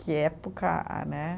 Que época a, né?